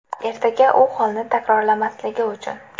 Ertaga u holni takrorlamasligi uchun.